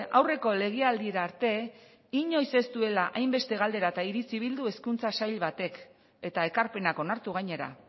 aurreko legealdira arte inoiz ez duela hainbeste galdera eta iritzi bildu hezkuntza sail batek eta ekarpenak onartu gainera